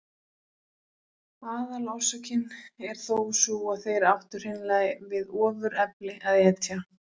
Aðalorsökin er þó sú að þeir áttu hreinlega við ofurefli að etja.